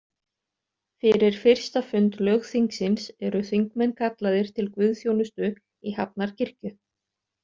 Fyrir fyrsta fund lögþingsins eru þingmenn kallaðir til guðþjónustu í Hafnarkirkju.